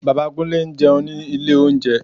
Bàbá Kúnlé ń jẹun ní ilé oúnjẹ